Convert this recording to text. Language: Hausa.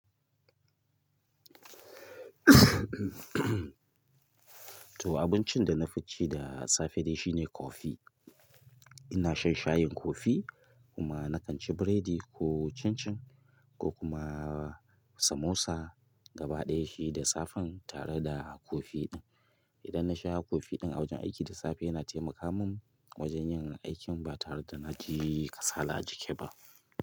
To abincin da na fi ci da safe dai shine coffee. Ina shan shayin coffee kuma na kan ci biredi ko chin-chin ko kuma samosa gaba ɗaya shi da safen tare da coffee ɗin. Idan na sha coffee ɗin a wajen aiki da safe yana taimaka min wajen yin aikin ba tare da na ji kasala a jiki ba.